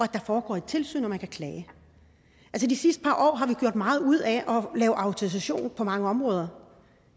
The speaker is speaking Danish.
der foregår et tilsyn og at man kan klage de sidste par år har vi gjort meget ud af at lave autorisationer på mange områder